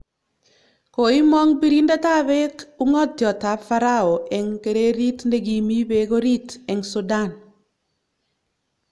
Koimong birindetab beek ung'otietab Pharaoh eng kererit ne kimi bek orit eng Sudan